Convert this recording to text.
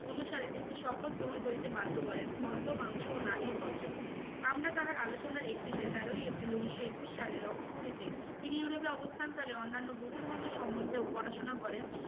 অনুসারে তিনটে শপত গ্রহণ করিতে বাধ্য করেন মদ্য মাংস ও নারী বর্জন। আমরা তাহার আলোচনার একটিতে তেরোই এপ্রিল উনিশশো একুশ সালে লক্ষ্য করি যে তিনি ইউরোপে অবস্থান কালে অন্যান্য বহু ধর্মের সম্বন্ধেও পড়াশোনা করেন।